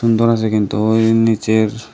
সুন্দর আসে কিন্তু ওই নীচের--।